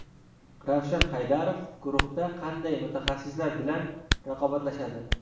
Ravshan Haydarov guruhda qanday mutaxassislar bilan raqobatlashadi?.